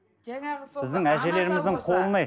жаңағы сол біздің әжелеріміздің қолын ай